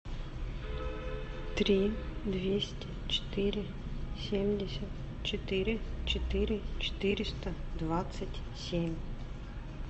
три двести четыре семьдесят четыре четыре четыреста двадцать семь